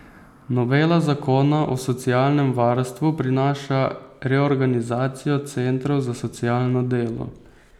Novela zakona o socialnem varstvu prinaša reorganizacijo centrov za socialno delo.